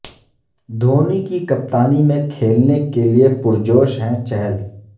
دھونی کی کپتانی میں کھیلنے کے لئے پرجوش ہیں چہل